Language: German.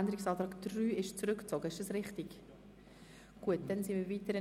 Der Abänderungsantrag 3 ist zurückgezogen worden.